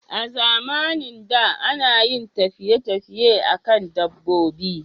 A zamanin da, ana yin tafiye tafiye a kan dabbobi